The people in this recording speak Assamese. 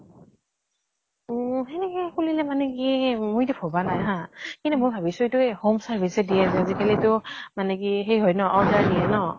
অ । সেনেকে খুলিলে মানে কি, মই এতিয়া ভাবা নাই হা । কিন্তু মই ভাবিছো এইটো এই home service যে দিয়ে । আজিকালি তো মানে কি সেই হয় ন order দিয়ে ন ?